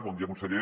bon dia conseller